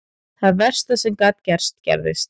Það versta sem gat gerst gerðist.